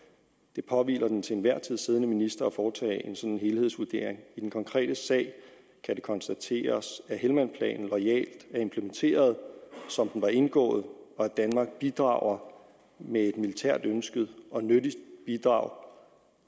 det påhviler den til enhver tid siddende minister at foretage en sådan helhedsvurdering i den konkrete sag kan det konstateres at helmand loyalt er implementeret som den var indgået og at danmark bidrager med et militært ønsket og nyttigt bidrag